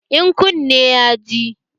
In kunne ya ji?